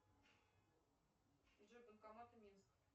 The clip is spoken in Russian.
джой банкоматы минск